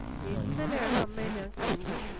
ഇന്നലെയാണ് അമ്മെ ഞാൻ കണ്ടത്